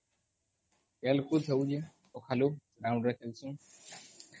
ଖେଳକୁଦ ହଉଛେ ସକାଳୁ